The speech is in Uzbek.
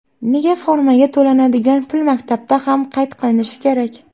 Nega formaga to‘lanadigan pul maktabda ham qayd qilinishi kerak?